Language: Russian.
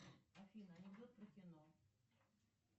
афина анекдот про кино